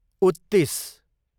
उत्तिस